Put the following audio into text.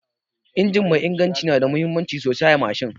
Injin mai inganci nada muhimmanci sosai a mashin